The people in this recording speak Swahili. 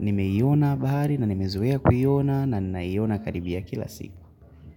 nimeiona bahari na nimezoea kuiona na ninaiona karibia kila siku.